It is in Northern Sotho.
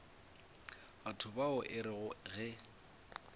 batho bao e rego ge